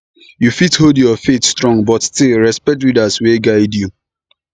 you fit hold your faith strong but still respect leaders wey guide you